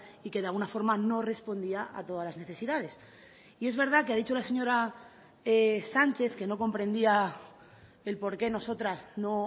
y que de alguna forma no respondía a todas las necesidades y es verdad que ha dicho la señora sánchez que no comprendía el por qué nosotras no